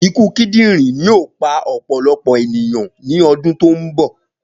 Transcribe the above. Ikuna kidinrin yoo pa ọpọlọpọ eniyan ni ọdun to nbọ.